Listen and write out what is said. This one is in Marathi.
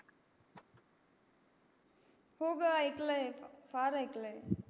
हो ग ऐकल आहे फार ऐकल आहे